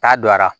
Ta don a la